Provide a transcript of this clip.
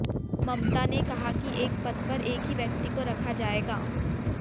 ममता ने कहा कि एक पद पर एक ही व्यक्ति को रखा जाएगा